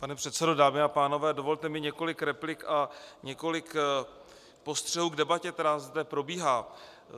Pane předsedo, dámy a pánové, dovolte mi několik replik a několik postřehů k debatě, která zde probíhá.